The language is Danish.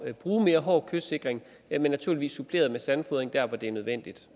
at bruge mere hård kystsikring men naturligvis suppleret med sandfodring der hvor det er nødvendigt